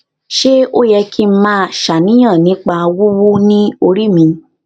ṣé ó yẹ kí n máa ṣàníyàn nípa wiwu ni ori mi